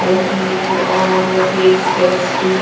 नमकीन और cakes pastry --